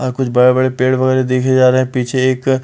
और कुछ बड़े-बड़े पेड़ पौधे देखे जा रहे हैं पीछे एक--